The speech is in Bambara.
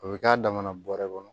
O bɛ k'a damana bɔrɛ kɔnɔ